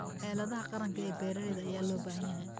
Xeeladaha qaranka ee beeraha ayaa loo baahan yahay.